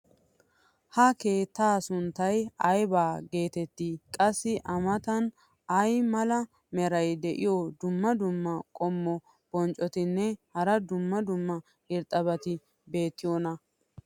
ha keettaa sunttay ayba geetettii? qassi a matan ay mala meray diyo dumma dumma qommo bonccotinne hara dumma dumma irxxabati beetiyoonaa?